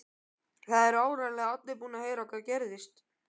Það eru áreiðanlega allir búnir að heyra hvað gerðist.